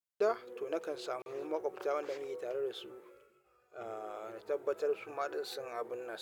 To nakan samu makwabta wanda muke tare da su, ah tabbatar su maɗin sun abin nan.